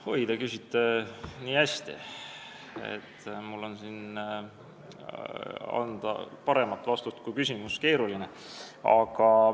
Oi, te küsite nii hästi, et mul on keeruline anda paremat vastust, kui oli teie küsimus.